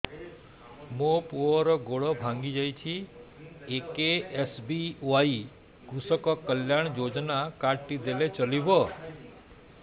ମୋ ପୁଅର ଗୋଡ଼ ଭାଙ୍ଗି ଯାଇଛି ଏ କେ.ଏସ୍.ବି.ୱାଇ କୃଷକ କଲ୍ୟାଣ ଯୋଜନା କାର୍ଡ ଟି ଦେଲେ ଚଳିବ